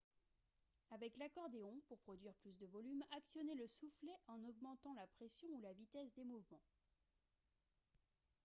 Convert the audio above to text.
avec l'accordéon pour produire plus de volume actionnez le soufflet en augmentant la pression ou la vitesse des mouvements